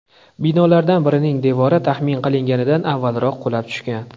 Binolardan birining devori taxmin qilinganidan avvalroq qulab tushgan.